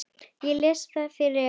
Ég les það fyrir Evu.